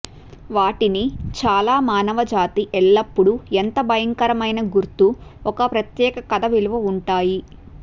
వాటిని చాలా మానవజాతి ఎల్లప్పుడూ ఎంత భయంకరమైన గుర్తు ఒక ప్రత్యేక కథ విలువ ఉంటాయి